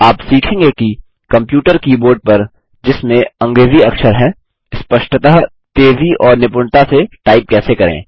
आप सीखेंगे कि कम्प्यूटर कीबोर्ड पर जिसमें अंग्रेज़ी अक्षर हैं स्पष्टतः तेज़ी और निपुणता से टाइप कैसे करें